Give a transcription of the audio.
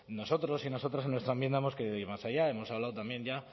nosotros y nosotras en nuestra enmienda hemos querido ir más allá hemos hablado también ya